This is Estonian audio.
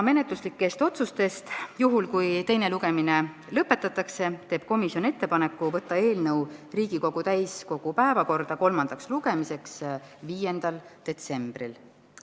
Menetluslikud otsused: kui teine lugemine lõpetatakse, siis teeb komisjon ettepaneku saata eelnõu Riigikogu täiskogu päevakorda kolmandaks lugemiseks 5. detsembriks.